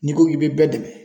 N'i ko k'i be bɛɛ dɛmɛ